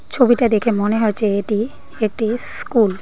ছবিটা দেখে মনে হচ্ছে এটি একটি স্কুল ।